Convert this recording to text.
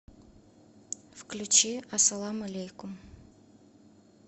включи ассалам алейкум